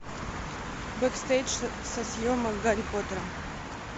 бэкстейдж со съемок гарри поттера